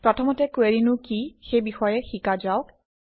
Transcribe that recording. প্ৰথমতে কুৱেৰিনো কি সেই বিষয়ে শিকা যাওক